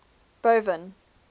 boven